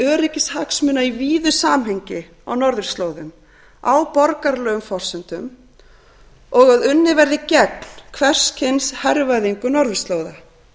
öryggishagsmuna í víðu samhengi á norðurslóðum á borgaralegum forsendum og að unnið verði gegn hvers kyns hervæðingu norðurslóða